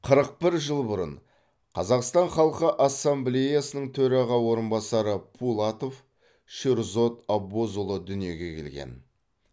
қырық бір жыл бұрын қазақстан халқы ассамблеясының төраға орынбасары пулатов шерзод аббозұлы дүниеге келген